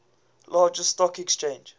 largest stock exchange